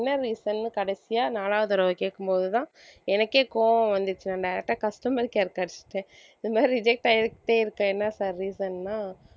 என்ன reason ன்னு கடைசியா நாலாவது தடவை கேட்கும்போதுதான் எனக்கே கோபம் வந்துச்சு நான் direct ஆ customer care கே அடிச்சிட்டேன் இந்த மாதிரி reject ஆயிட்டே இருக்க என்ன sir reason ன்னா